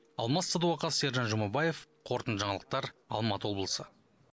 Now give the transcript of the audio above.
алмас садуақас сержан жұмабаев қорытынды жаңалықтар алматы облысы